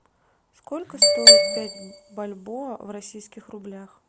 сколько стоит пять бальбоа в российских рублях